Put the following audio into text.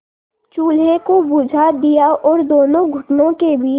चूल्हे को बुझा दिया और दोनों घुटनों के बीच